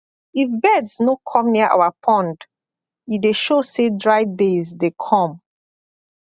if birds no come near our pond e dey show say dry days dey come